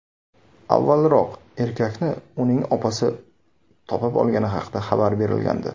Avvalroq erkakni uning opasi topib olgani haqida xabar berilgandi .